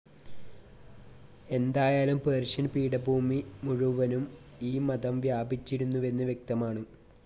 എന്തായാലും പേർഷ്യൻ പീഠഭൂമി മുഴുവനും ഈ മതം വ്യാപിച്ചിരുന്നുവെന്ന് വ്യക്തമാണ്.